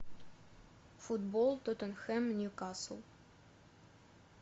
футбол тоттенхэм ньюкасл